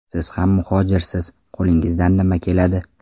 Siz ham muhojirsiz, qo‘lingizdan nima keladi?